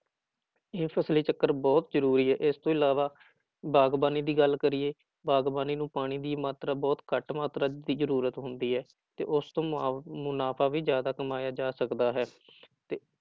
ਇਹ ਫ਼ਸਲੀ ਚੱਕਰ ਬਹੁਤ ਜ਼ਰੂਰੀ ਹੈ ਇਸ ਤੋਂ ਇਲਾਵਾ ਬਾਗ਼ਬਾਨੀ ਦੀ ਗੱਲ ਕਰੀਏ, ਬਾਗ਼ਬਾਨੀ ਨੂੰ ਪਾਣੀ ਦੀ ਮਾਤਰਾ ਬਹੁਤ ਘੱਟ ਮਾਤਰਾ ਦੀ ਜ਼ਰੂਰਤ ਹੁੰਦੀ ਹੈ, ਤੇ ਉਸਤੋਂ ਮੁਆ ਮੁਨਾਫ਼ਾ ਵੀ ਜ਼ਿਆਦਾ ਕਮਾਇਆ ਜਾ ਸਕਦਾ ਹੈ ਤੇ